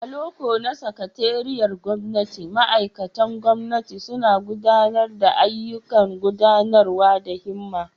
A loko na sakatariyar gwamnati, ma'aikatan gwamnati suna gudanar da ayyukan gudanarwa da himma.